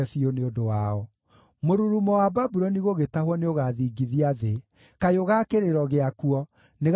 Mũrurumo wa Babuloni gũgĩtahwo nĩũgathingithia thĩ; kayũ ga kĩrĩro gĩakuo nĩgakaiguuo ndũrĩrĩ-inĩ.